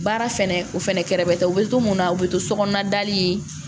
Baara fɛnɛ o fɛnɛ kɛrɛfɛbɛ tɛ u bɛ to mun na u bɛ to so kɔnɔna dali